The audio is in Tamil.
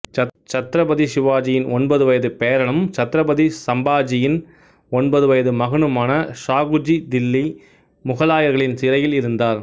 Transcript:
சத்ரபதி சிவாஜியின் ஒன்பது வயது பேரனும் சத்திரபதி சம்பாஜியின் ஒன்பது வயது மகனுமான சாகுஜி தில்லி முகலாயர்களின் சிறையில் இருந்தார்